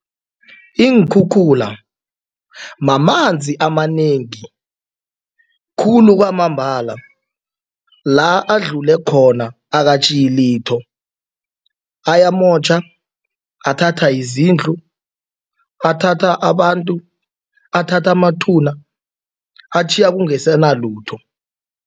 Iinkhukhula mamanzi amanengi khulu kwamambala. La adlule khona akatjhiyi litho ayamotjha athatha izindlu, athatha abantu, athatha amathuba, atjhiya kungesenalutho.